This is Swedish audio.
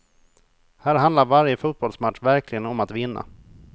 Här handlar varje fotbollsmatch verkligen om att vinna.